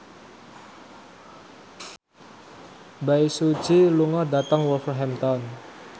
Bae Su Ji lunga dhateng Wolverhampton